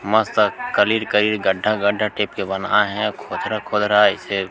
मस्त कलर कई गड्ढा-गड्ढा टाइप के बनाए हे खोद खोद रहा हे ऐसे--